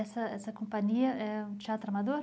Essa, essa companhia é um teatro amador?